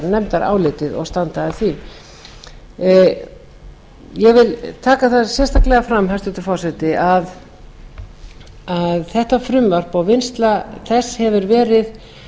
nefndarálitið og standa að því ég vil taka það sérstaklega fram hæstvirtur forseti að þetta frumvarp og vinnsla þess hefur verið